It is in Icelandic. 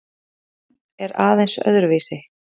Undirbúningurinn er aðeins öðruvísi.